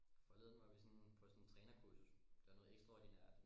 Forleden var vi sådan på sådan et trænerkursus det var noget ekstraordinært